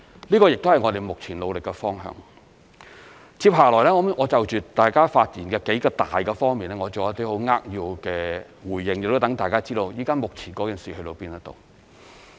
這亦是我們目前努力的方向。接下來我會就大家發言的數個方面作一些扼要的回應，亦讓大家知道目前的進展。